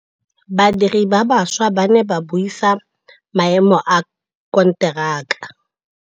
Badiri ba baša ba ne ba buisa maêmô a konteraka.